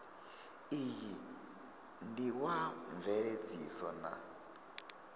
iyi ndi wa mveledziso na